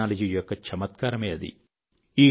technology యొక్క చమత్కారమే అది